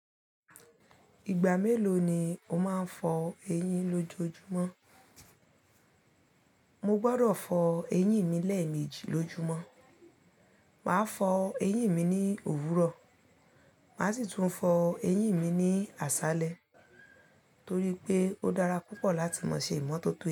Ìgbà mélòó ni o máa ń fọ eyín lójojúmọ́? Mo gbọdọ̀ fọ eyín mi lẹ́ẹ̀mejì lójúmọ́. Màá fọ eyín mi ní òwúrọ̀, màá sì tún fọ eyín mi ní àṣálẹ́ torí pé ó dára púpọ̀ láti máa ṣe ìmọ́tótó eyín.